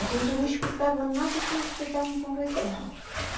A gente não escutava nada que que estavam conversando.